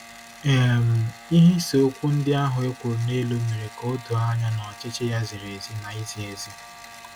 um Ihe iseokwu ndị ahụ e kwuru n'elu mere ka o doo anya na ọchịchị ya ziri ezi na izi ezi.